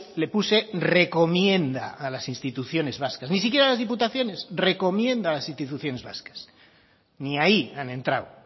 le puse recomienda a las instituciones vascas ni siquiera a las diputaciones recomienda a las instituciones vascas ni ahí han entrado